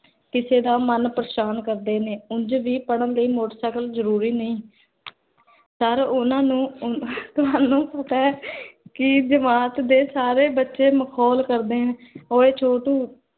ਕਿਸੇ ਦਾ ਮਨ ਪਰੇਸ਼ਾਨ ਕਰਦੇ ਨੇ ਉੰਜ ਵੀ ਪੜ੍ਹਨ ਲਈ motorcycle ਜਰੂਰੀ ਨਹੀ ਪਰ ਓਨ੍ਨਾ ਨੂੰ ਤੁਹਾਨੂ ਪਤਾ ਹੈ ਕੀ ਜਮਾਤ ਦੇ ਸਾਰੇ ਬਚੇ ਮਖੋਲ ਕਰਦੇ ਨੇ, ਓਏ ਛੋਟੂ